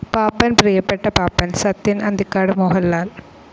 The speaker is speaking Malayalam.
പാപ്പൻ പ്രിയപ്പെട്ട പാപ്പൻ സത്യൻ അന്തിക്കാട് മോഹൻലാൽ